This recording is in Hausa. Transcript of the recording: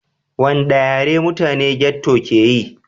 Wanɗa yare ne mutanen ghetto ƙe yi?